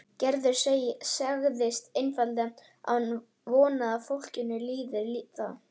Gerður sagði einfaldlega að hún vonaði að fólkinu líkaði það.